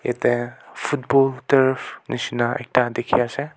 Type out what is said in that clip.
yate football taf misna ekta dikhi ase.